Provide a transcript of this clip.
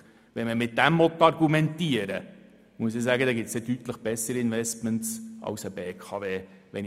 Wenn man so argumentieren und auf die Rendite achten will, gibt es deutlich bessere Investments als eine BKW.